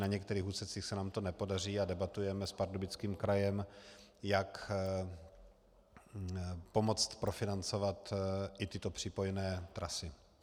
Na některých úsecích se nám to nepodaří a debatujeme s Pardubickým krajem, jak pomoct profinancovat i tyto přípojné trasy.